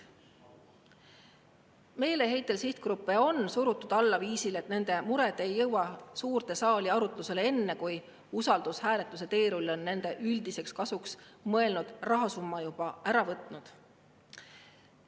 Meeleheitel sihtgruppe on surutud alla viisil, et nende mured ei jõua suurde saali arutlusele enne, kui usaldushääletuse teerull on nende üldiseks kasuks mõeldud rahasumma juba ära võtnud.